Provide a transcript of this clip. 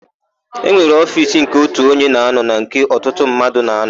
E nwere ofiisi nke ótù onye na-ánọ̀ na nke ọtụtụ mmadụ na-ánọ̀.